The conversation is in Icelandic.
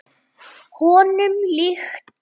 Honum líkt.